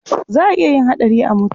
Za a iya yin haɗari a mutu.